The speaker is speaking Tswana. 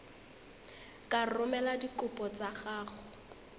ka romela dikopo tsa gago